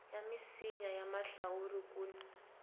ya misinya ya mahlawuri kun